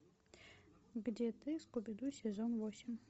где ты скуби ду сезон восемь